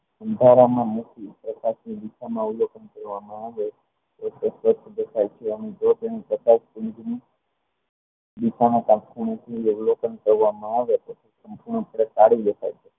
એક જ અવલોકન કરવામાં આવે